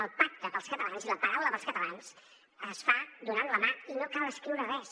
el pacte per als catalans i la paraula per als catalans es fa donant la mà i no cal escriure res